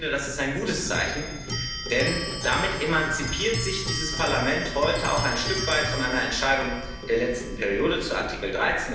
Ich finde, das ist ein gutes Zeichen, denn damit emanzipiert sich dieses Parlament heute auch ein Stück weit von einer Entscheidung der letzten Periode zu Artikel